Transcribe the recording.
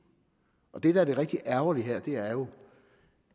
det der er det rigtig ærgerlige her er jo